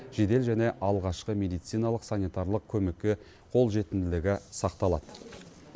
жедел және алғашқы медициналық санитарлық көмекке қолжетімділігі сақталады